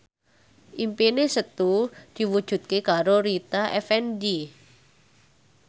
impine Setu diwujudke karo Rita Effendy